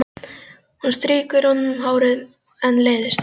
Hún strýkur honum um hárið en leiðist það.